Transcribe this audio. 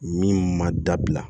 Min ma dabila